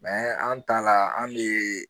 an ta la an be